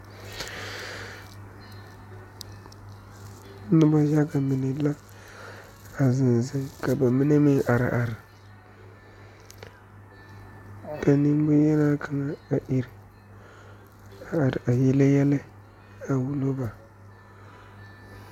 Noba yaga mine la a zeŋ zeŋ ka ba mine meŋ are are ka nemboŋyenaa kaŋa are iri yele yɛlɛ a wulo ba.